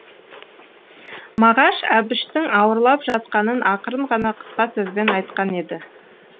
мағаш әбіштің ауырлап жатқанын ақырын ғана қысқа сөзбен айтқан еді